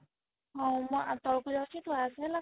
ହଉ ମୁଁ ତଳକୁ ଯାଉଛି ତୁ ଆସେ ହେଲା